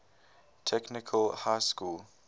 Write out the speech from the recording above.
technical high school